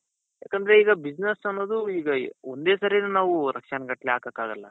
ಯಾಕಂದ್ರೆ ಈಗ business ಅನ್ನೋದು ಈಗ ಒಂದೇ ಸರಿನೆ ನಾವು ಲಕ್ಷಾನ್ ಗಟ್ಲೆ ಹಾಕಕ್ಕಾಗಲ್ಲ.